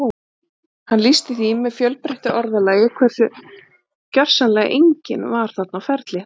Hann lýsti því með fjölbreyttu orðalagi hversu gersamlega enginn var þarna á ferli